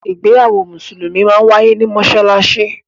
Ìgbéyàwó musulumi máa ń waiye ni Mossalassi.